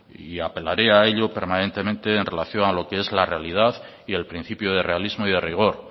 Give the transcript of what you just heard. y apelaré a ello permanentemente en relación a lo que es la realidad y el principio de realismo y de rigor